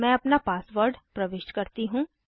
अब मैं अपना पासवर्ड प्रविष्ट करती हूँ